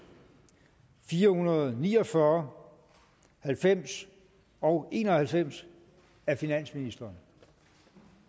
fire hundrede og ni og fyrre halvfems og en og halvfems af finansministeren